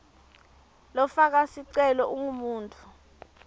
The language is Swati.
lofaka sicelo ungumuntfu